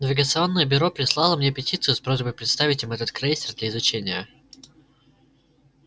навигационное бюро прислало мне петицию с просьбой представить им этот крейсер для изучения